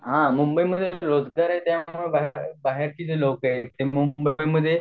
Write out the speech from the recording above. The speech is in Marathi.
हा मुंबई मध्ये रोजगार आहे त्यामुळे बाहेरची जी लोक आहेत ती मुंबई मध्ये